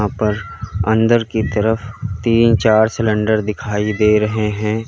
पर अंदर की तरफ तीन चार सिलेंडर दिखाई दे रहे हैं।